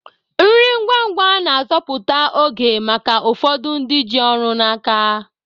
Nri ngwa ngwa na-azọpụta oge maka ụfọdụ ndị ji ọrụ n'aka